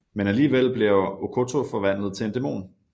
Men alligevel bliver Okkoto forvandlet til en dæmon